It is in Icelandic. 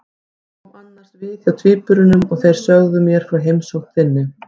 Ég kom annars við hjá tvíburunum og þeir sögðu mér frá heimsókn þinni.